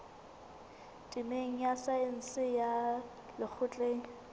temeng ya saense ya lekgotleng